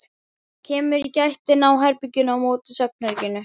Kemur í gættina á herberginu á móti svefnherberginu.